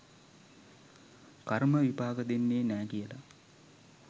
කර්ම විපාක දෙන්නේ නෑ කියලා.